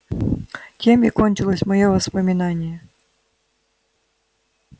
тем и кончилось моё воспоминание